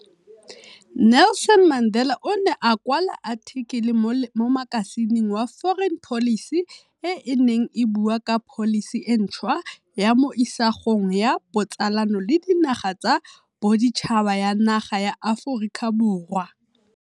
Nelson Mandela o ne a kwa la athikele mo makasineng wa Foreign Policy e e neng e bua ka pholisi e ntšhwa ya mo isagong ya botsalano le dinaga tsa boditšhaba ya naga ya Aforika Borwa.